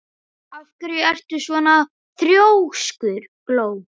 Af hverju ertu svona þrjóskur, Gló?